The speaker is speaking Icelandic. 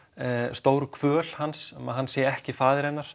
stóru kvöl hans að hann sé ekki faðir hennar